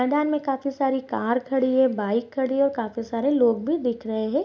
मैदान में काफी सारी कार खड़ी है बाइक खड़ी है काफी सारे लोग भी दिख रहे हैं।